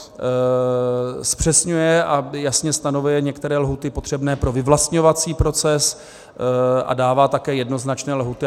Zpřesňuje a jasně stanovuje některé lhůty potřebné pro vyvlastňovací proces a dává také jednoznačné lhůty.